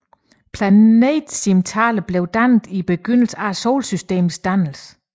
Planetesimalerne blev dannet i begyndelsen af solsystemets dannelse